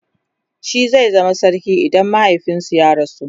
shi zai zama sarki idan mahaifinsu ya rasu